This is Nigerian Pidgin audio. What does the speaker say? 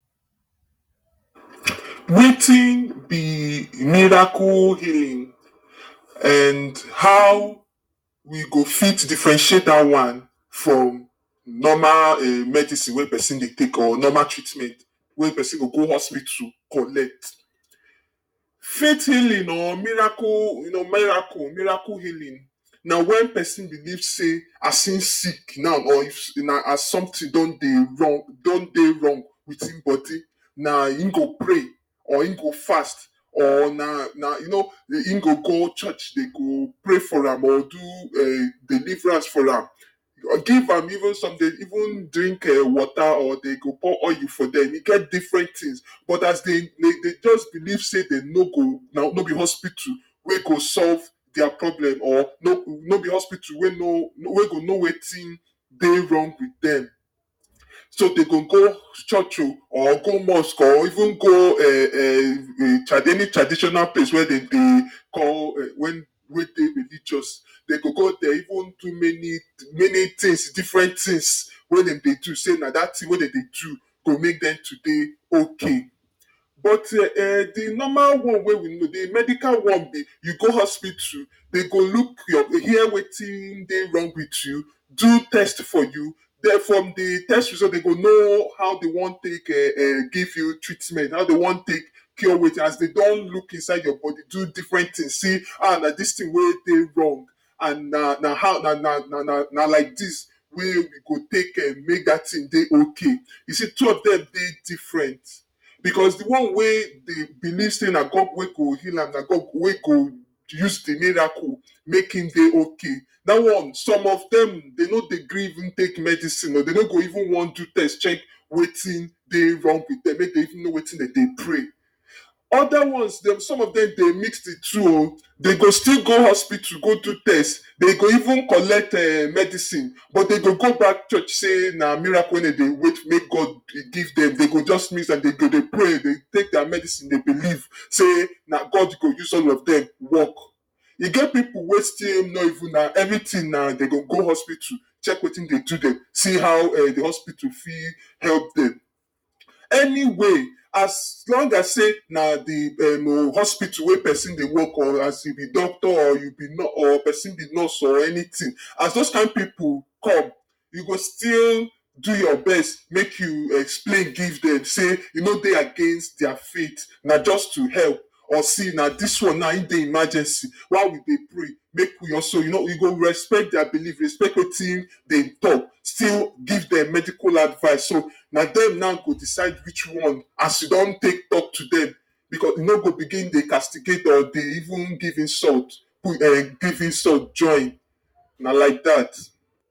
Wetin be miracle healing and how we go fit differentiate dat one from normal um medicine wey person dey take or normal treatment wey person go go hospital collect. Faite healing or miracle you know miracle miracle healing na wen person believe sey as im sick now or if na as something don dey wrong don dey wrong with im body na im go pray or im go fast or na na you know im go go church, dey go pray for am or do um deliverance for am, give am even some dey even drink um water or dey go pour oil for dem. E get different things, but as dey dey just believe say dem no go no be hospital wey go solve dia problem or make we no be hospital wey know wey go know wetin dey wrong with dem. So dey go go church or go mosque or even go [um um] traditional any traditional place wey dem dey call wey dey wey dey religious. Dey go go there even do many many things, different things wen dem dey do sey na dat things wey dem dey do go make dem to dey ok. But um de normal one wey we know, de medical one be you go hospital, dem go look your, hear wetin dey wrong with you, do test for you, den from de test result, dem go know how dem wan take [um um] give you treatment, how dey wan take cure wetin, as dey don look inside your bodi, do different things, see ah na dis thing wey wrong and na na how na na na like dis wey we go take um make dat thing dey ok. Be sey two of dem dey different becos de one wey dey believe sey na god wey go heal am, na god wey go use de miracle make im dey ok. Dat one, some of dem, dey no dey gree even take medicine o dey no go even want do test check wetin dey wrong with dem make dem even know wetin dem dey pray. Other ones dem, some of dem dey mix de two o, dey go still go hospital go do test. Dey go even collect um medicine, but dem dey go that church sey na miracle wey dem dey wait make God give dem. Dey go just mix am, dey go dey pray dey take dia medicine dey believe sey na God go use all of dem work. E get pipu wey still no even na everything na dey go go hospital check wetin dey do dem, see as de hospital fit help dem. Anyway, as long as sey na de um hospital wey person dey work or as you be doctor or you be nurse or person be nurse or anytin. As dose kin pipu come, you go still do your best make you explain give dem sey e no dey against dia faith na just to help or see na dis one now im dey emergency, while you dey pray make you also you know you go respect dia believe, respect wetin dem talk still give dem medical advice, so na dem now go decide which one as you don take talk to dem becos you no go begin dey castigate or dey even give insult put um or give insult join, na like dat.